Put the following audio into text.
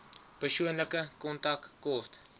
persoonlike kontak kort